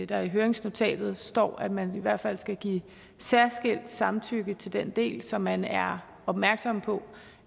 der i høringsnotatet står at man i hvert fald skal give særskilt samtykke til den del så man er opmærksom på